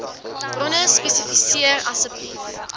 bronne spesifiseer asseblief